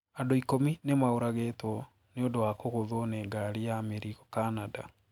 Andũ ikũmĩ ñĩmaũragitwo ñĩũndũ wa kũgũthwo nĩ ngarĩ ya mĩrĩgo Canada.